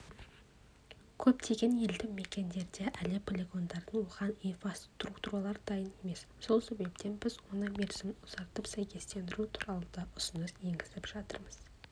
көптеген елді мекендерде әлі полигондардың оған инфраструктуралары дайын емес сол себептен біз оның мерзімін ұзартып сәйкестендіру туралы да ұсыныс енгізіп жатырмыз